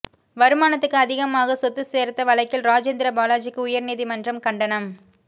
வருமானத்துக்கு அதிகமாக சொத்து சேர்த்த வழக்கில் ராஜேந்திர பாலாஜிக்கு உயர்நீதிமன்றம் கண்டனம்